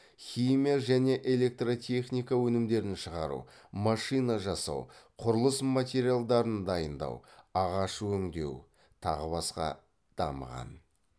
химия және электротехника өнімдерін шығару машина жинау құрылыс материалдарын дайындау ағаш өңдеу тағы басқа дамыған